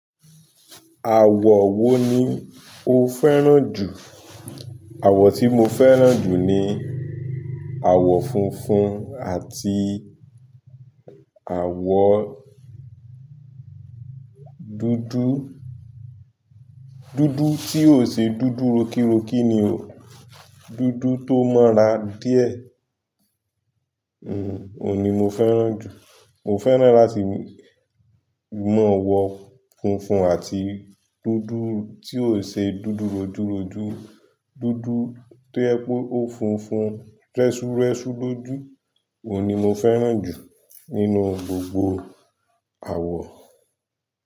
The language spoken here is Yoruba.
Àwọ̀ wo ni o fẹ́ràn jù? Àwọ̀ tí mo fẹ́ràn jù ni àwọ̀ funfun àti àwọ dúdú. Dúdú tí ò ń ṣe dúdú rokírokí ni o, dúdú tó mọ́ ra díẹ̀. Òun ni mo féràn ju. Mo fẹ́ràn láti mọ̀ wọ funfun àti dúdú tí ò ń ṣe dúdú rojúrojú, dúdú tó yẹ pé ó funfun, rẹ́sú rẹ́sú lójú. Òun ni mo fẹ́ràn jù nínú gbogbo àwọ̀.